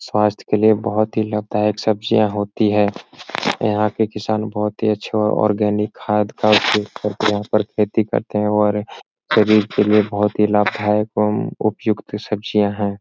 स्वास्थ के लिए बोहोत ही लाभदायक सब्जियां होती हैं। यहाँ के किसान बहुत ही अच्छे आर्गेनिक खाद का उपयोग करते हैं और खेती करते हैं और शरीर के लिए बोहोत ही लाभदायक एवं उपयुक्त सब्जियां है।